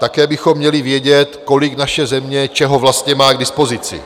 Také bychom měli vědět, kolik naše země čeho vlastně má k dispozici...